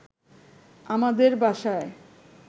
আমাদের বাসায়